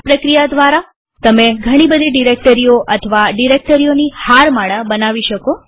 આ પ્રક્રિયા દ્વારા તમે ઘણી બધી ડિરેક્ટરીઓ અથવા ડિરેક્ટરીઓની હારમાળા પણ બનાવી શકો